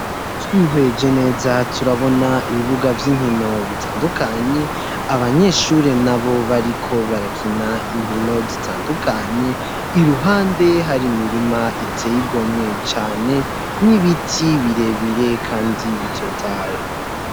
Twihweje neza turabona ibibuga vy'inkino bitandukanye abanyeshuri nabo bariko barakina inkino zitandukanye iruhande hari imirima iteye igomwe cane n'ibiti bire bire kandi bitotaye.